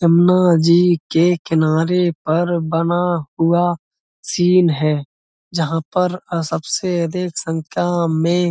जमना जी के किनारे पर बना हुआ सीन है जहाँ पर अ सबसे अधिक सख्यां में --